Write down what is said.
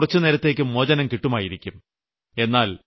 നിങ്ങൾക്ക് കുറുച്ചുനേരത്തേയ്ക്ക് മോചനം കിട്ടുമായിരിക്കും